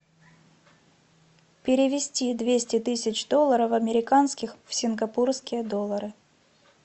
перевести двести тысяч долларов американских в сингапурские доллары